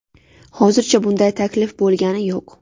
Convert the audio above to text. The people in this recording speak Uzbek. Hozircha bunday taklif bo‘lgani yo‘q.